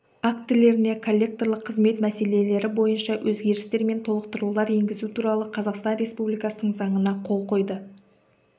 актілеріне коллекторлық қызмет мәселелері бойынша өзгерістер мен толықтырулар енгізу туралы қазақстан республикасының заңына қол қойды